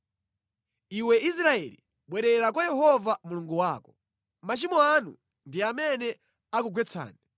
Iwe Israeli bwerera kwa Yehova Mulungu wako. Machimo anu ndi amene akugwetsani!